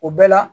O bɛɛ la